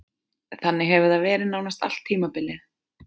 Þannig hefur það verið nánast allt tímabilið.